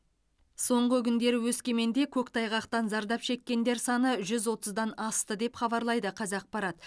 соңғы күндері өскеменде көктайғақтан зардап шеккендер саны жүз отыздан асты деп хабарлайды қазақпарат